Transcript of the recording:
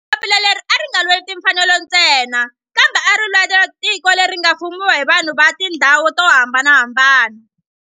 Papila leri a ri nga lweli timfanelo ntsena kambe ari lwela tiko leri nga ta fumiwa hi vanhu va tihlonge to hambanahambana.